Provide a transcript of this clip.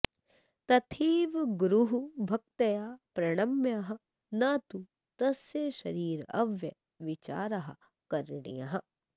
तथैव गुरुः भक्त्या प्रणम्यः न तु तस्य शरीरावयवविचारः करणीयः